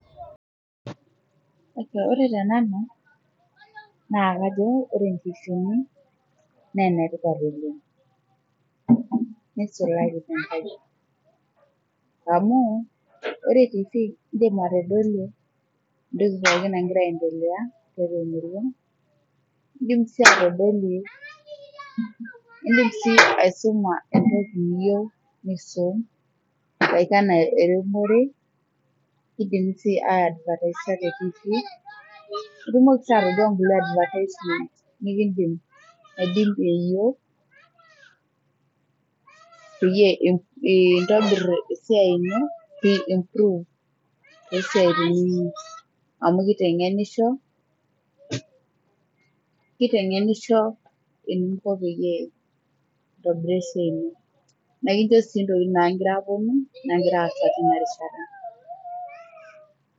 Ore te nanu, naa kajo ore ntifiini naa netipat oleng neisulaki taa, amu ore tifii indim atodolie entoki pookin angia aendelea indim sii atodolie nisuma entoki niyieu nisum, aiko enaa eretunoret ,nindim sii ai advertise te tifii ,nindim sii atoduaa kulie advertisements nidolie pee intobirr esiai ino aashu pee improve esia ino amuu keitengenisho. Keitengenisho eninko peyiee intobiraa esiai ino . Ekincho sii ntokitin naagira apuonu onaagira aasa teina rishata.